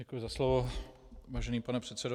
Děkuji za slovo, vážený pane předsedo.